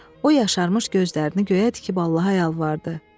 O yaşarmış gözlərini göyə tikib Allaha yalvardı.